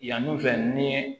Yani u fɛ ni